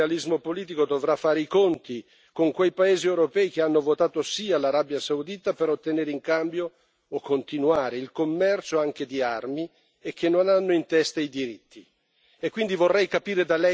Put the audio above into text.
Io ho l'impressione che questo Suo realismo politico dovrà fare i conti con quei paesi europei che hanno votato sì all'Arabia Saudita per ottenere in cambio, o continuare, il commercio anche di armi, e che non hanno in testa i diritti.